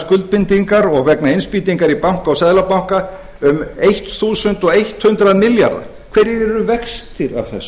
skuldbindingar og vegna innspýtingar í banka og seðlabanka um ellefu hundruð milljarða hverjir eru vextir